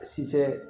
Si tɛ